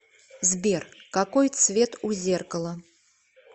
сбер какой цвет у зеркала